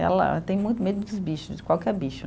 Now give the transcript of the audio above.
Ela tem muito medo dos bichos, de qualquer bicho.